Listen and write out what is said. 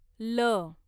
ल